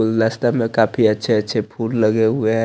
गुलदस्ते में काफी अच्छे अच्छे फुल लहे हुए है।